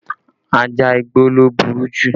Ajá igbó ló burú jù